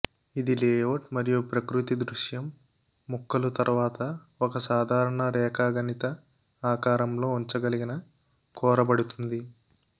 ఇది లేఅవుట్ మరియు ప్రకృతి దృశ్యం ముక్కలు తర్వాత ఒక సాధారణ రేఖాగణిత ఆకారం లో ఉంచగలిగిన కోరబడుతుంది